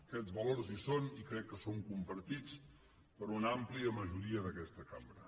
aquests valors hi són i crec que són compartits per una àmplia majoria d’aquesta cambra